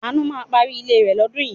Àánú ma parí ilé rẹ̀ lọ́dún yìí.